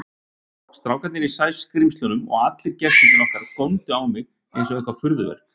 Strákarnir í Sæskrímslunum og allir gestirnir okkar góndu á mig einsog eitthvert furðuverk.